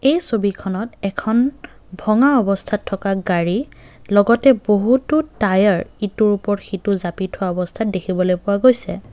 এই ছবিখনত এখন ভঙা অৱস্থাত থকা গাড়ী লগতে বহুতো টায়াৰ ইটোৰ ওপৰত সিটো জাপি থোৱা অৱস্থাত দেখিবলৈ পোৱা গৈছে।